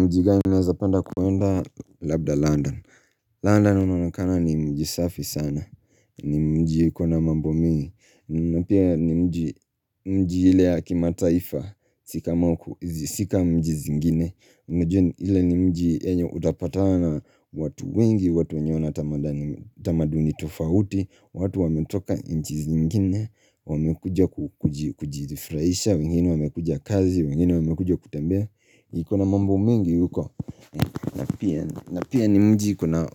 Mji gani naeza penda kuenda labda London. London unaonekana ni mji safi sana. Ni mji ukona mambo mingi. Na pia ni mji ile ya kimataifa. Si kama, si ka mji zingine. Mji ile ni mji enye utapatana na watu wengi, watu wenye na tamaduni tofauti, watu wametoka nchi zingine, wamekuia kujirifurahisha, wengine wamekuja kazi, wengine wamekujia kutembea. Ikona mambo mingi huko na pia ni mji ikona